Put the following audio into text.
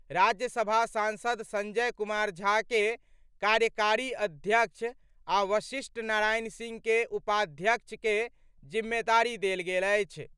राज्यसभा सांसद संजय कुमार झा के कार्यकारी अध्यक्ष आ वशिष्ठ नारायण सिंह के उपाध्यक्ष के जिम्मेदारी देल गेल अछि।